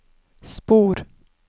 spor